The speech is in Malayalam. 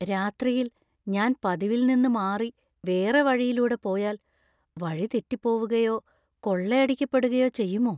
രാത്രിയിൽ ഞാൻ പതിവിൽ നിന്ന് മാറി വേറെ വഴിയിലൂടെ പോയാൽ വഴിതെറ്റിപ്പോവുകയോ, കൊള്ളയടിക്കപ്പെടുകയോ ചെയ്യുമോ?